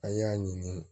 An y'a ɲini